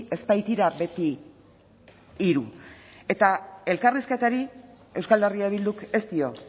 ez baitira beti hiru eta elkarrizketari euskal herria bilduk ez dio